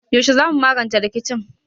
Yaushe za mu magance rikicin?